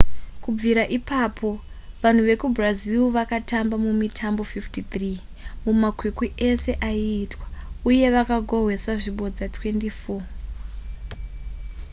kubvira ipapo vanhu vekubrazil vakatamba mumitambo 53 mumakwikwi ese aiitwa uye vakagohwesa zvibodzwa 24